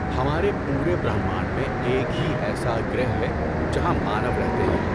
ہمارے پورے برہمانڈ میں ایک ہی ایسا گَرہ ہے جہاں مانو رہتے ہیں۔